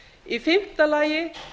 í fimmta lagi